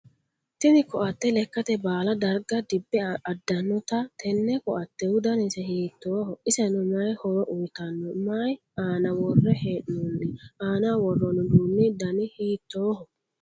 Tinni koate lekate baala darga dibe adanote tenne koatehu dannise hiittooho? Iseno mayi horo uyitano? Mayi aanna wore hee'noonni? Aannaho woroonni uduunni danni hiittooho?